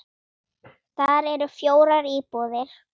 Þar eru fjórar íbúðir.